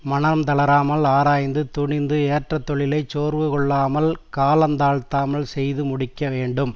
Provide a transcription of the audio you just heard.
மனம் தளராமல் ஆராய்ந்து துணிந்து ஏற்ற தொழிலை சோர்வு கொள்ளாமல் கால தாழ்த்தாமல் செய்து முடிக்க வேண்டும்